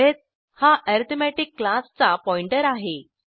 अरिथ हा अरिथमेटिक क्लासचा पॉईंटर आहे